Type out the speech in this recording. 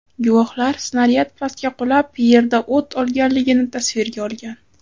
Guvohlar snaryad pastga qulab, yerda o‘t olganligini tasvirga olgan.